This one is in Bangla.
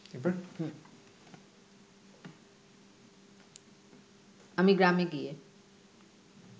আমি গ্রামে গিয়ে